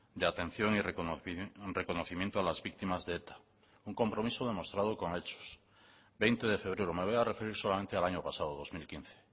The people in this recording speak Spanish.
de atención y reconocimiento a las víctimas de eta un compromiso demostrado con hechos veinte de febrero me voy a referir solamente al año pasado dos mil quince